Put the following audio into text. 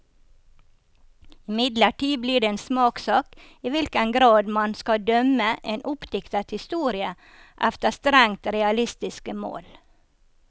Imidlertid blir det en smakssak i hvilken grad man skal dømme en oppdiktet historie efter strengt realistiske mål.